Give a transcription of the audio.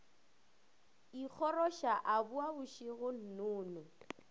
ikgoroša a boa mašego nnono